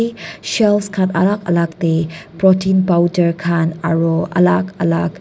shelve khan alag alag te protein powder khan aru alag alag.